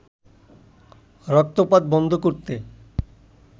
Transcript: রক্তপাত বন্ধ করতে